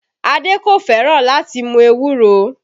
Adé kò fẹ́ràn láti mú ewúro